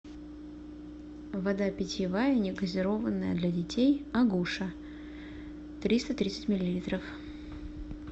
вода питьевая негазированная для детей агуша триста тридцать миллилитров